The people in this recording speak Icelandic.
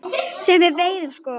Sem við veiðum sko?